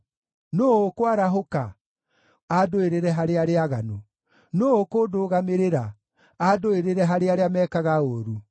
Nũũ ũkwarahũka, andũĩrĩre harĩ arĩa aaganu? Nũũ ũkũndũgamĩrĩra, andũĩrĩre harĩ arĩa meekaga ũũru?